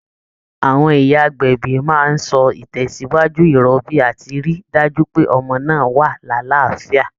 Àwọn ìyá agbẹ̀bí máa ń ṣọ́ ìtẹ̀síwájú ìrọbí àti rí i dájú pé ọmọ náà wà lálàáfíà